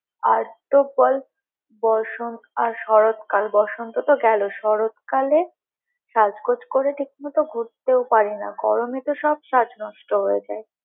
আর তো বল বসন্ত আর শরৎকাল, বসন্ত তো গেলো শরৎকালে সাজ-গোজ করে ঠিক মতো ঘুরতেও পারি না, গরমে তো সব সাজ নষ্ট হয়ে যায়।